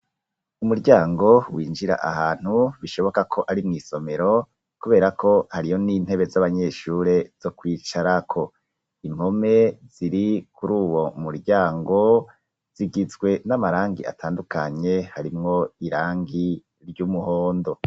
Umuryango winjira ahantu bishoboka ko ari mu isomero kubera ko hariyo n'intebe z'abanyeshure zo kwicara ko impome ziri kuri uwo muryango zigitswe n'amarangi atandukanye harimwo irangi ry'umuhondo.